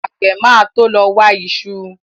Àgbẹ̀ máa to lọ wa iṣu